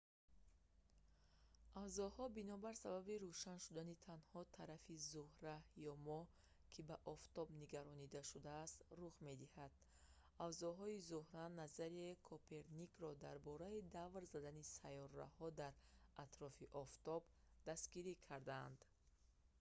авзоҳо бинобар сабаби рӯшан шудани танҳо тарафи зӯҳра ё моҳ ки ба офтоб нигаронда шудааст рух медиҳад. авзоҳои зӯҳра назарияи коперникро дар бораи давр задани сайёраҳо дар атрофи офтоб дастгирӣ карданд